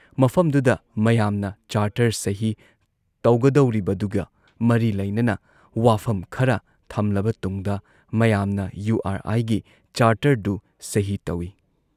ꯃꯐꯝꯗꯨꯗ ꯃꯌꯥꯝꯅ ꯆꯥꯔꯇꯔ ꯁꯍꯤ ꯇꯧꯒꯗꯧꯔꯤꯕꯗꯨꯒ ꯃꯔꯤ ꯂꯩꯅꯅ ꯋꯥꯐꯝ ꯈꯔ ꯊꯝꯂꯕ ꯇꯨꯡꯗ ꯃꯌꯥꯝꯅ ꯌꯨ ꯑꯥꯔ ꯑꯥꯏꯒꯤ ꯆꯥꯔꯇꯔꯗꯨ ꯁꯍꯤ ꯇꯧꯏ ꯫